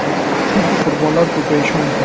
Chunki qurbonlar ko‘payishi mumkin.